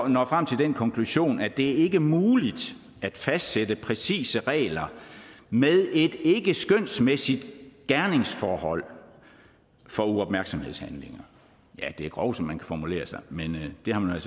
når frem til den konklusion at det ikke er muligt at fastsætte præcise regler med et ikkeskønsmæssigt gerningsforhold for uopmærksomhedshandlinger ja det er grov som man kan formulere sig men det har man